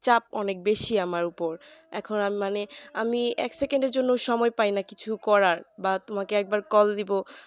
চাপ অনেক বেশি আমার ওপর এখন মানে আমি এক second এর জন্যে সময় পাই না কিছু করার বা তোমাকে একবার call দিবো